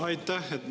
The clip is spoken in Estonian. Aitäh!